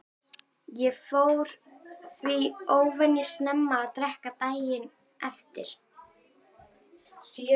Ég fór því óvenju snemma að drekka daginn eftir.